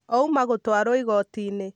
Ouma gũtwarwo Igotiinĩ